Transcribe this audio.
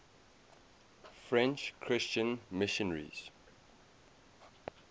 french christian missionaries